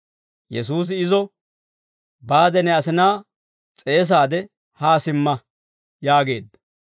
Yesuusi izo, «Baade ne asinaa s'eesaade haa simma» yaageedda.